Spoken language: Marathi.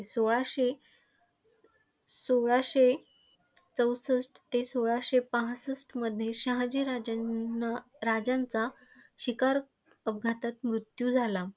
सोळाशे सोळाशे चौसष्ट ते सोळाशे पासष्ट मध्ये शहाजी राजांनाराजांचा शिकार अपघातात मृत्यू झाला.